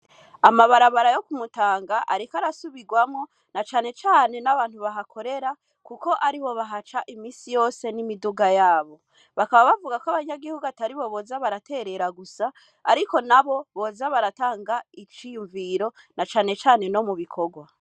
Amabarabara yo kumutanga, ariko arasubirwamwo na canecane n'abantu bahakorera, kuko ari bo bahaca imisi yose n'imiduga yabo bakaba bavuga ko abanyagihugu atari bo boza baraterera gusa, ariko na bo boza baratanga iciyumviro na canecane no mu bikorwa.